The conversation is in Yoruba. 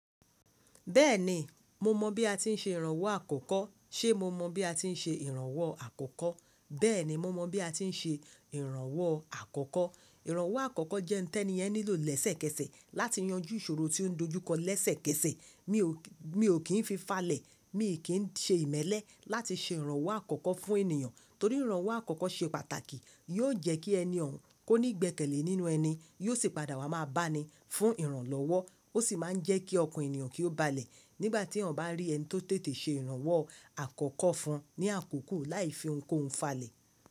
Bẹ́ẹ̀ni, mo mọ bí a ti ń ṣe ìrànwọ́ àkọ́kọ́. Ṣé mo mọ bí a ti ń ṣe ìrànwọ́ àkọ́kọ́? Bẹ́ẹ̀ni, mo mọ bí a ti ń ṣe ìrànwọ́ àkọ́kọ́. Ìrànwọ́ àkọ́kọ́ jẹ́ ohun tí ẹni yen nílò lẹ́sẹ̀kẹsẹ̀ láti yanjú ìṣòro tí ó ń dojú kọ lẹ́sẹ̀kẹsẹ̀. Mi ò kí n fi falẹ̀, mi ò kí ń ṣe ìmẹ́lẹ́ láti ṣe ìrànwọ́ àkọ́kọ́ fún ènìyàn torí ìrànwọ́ àkọ́kọ́ ṣe pàtàkì. Yóò jẹ́ kí ẹni oun kò ní gbẹ́kẹ̀lé nínú ẹni, yóò sì padà wá máa bá ni fún ìrànlọ́wọ́. Ó sì máa ń jẹ́ kí ọkàn ènìyàn kí ó balẹ̀ nígbà tí eyan bá rí ẹni tó tètè ṣe ìrànwọ́ àkọ́kọ́ fún un ní àkókò láì fi ohunkóhun falẹ̀.